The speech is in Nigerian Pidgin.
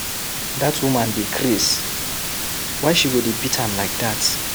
That woman dey craze, why she go dey beat am like dat.